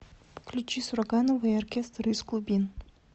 включи сурганова и оркестр из глубин